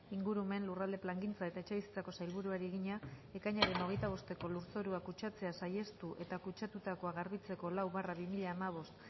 ingurumen lurralde plangintza eta etxebizitzako sailburuari egina ekainaren hogeita bosteko lurzorua kutsatzea saihestu eta kutsatutakoa garbitzeko lau barra bi mila hamabost